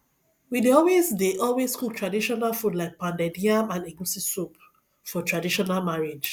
we dey always dey always cook traditional food like pounded yam and egusi soup for traditional marriage